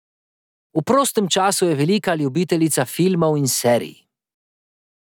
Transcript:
V prostem času je velika ljubiteljica filmov in serij.